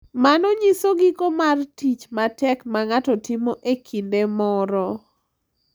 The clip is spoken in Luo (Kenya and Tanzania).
Mano nyiso giko mar tich matek ma ng’ato timo e kinde moro